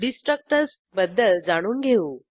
destructors बद्दल जाणून घेऊ